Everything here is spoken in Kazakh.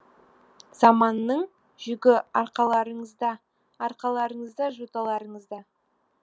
заманның жүгі арқаларыңызда арқаларыңызда жоталарыңызда